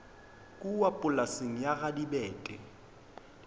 kua polaseng ya ga dibete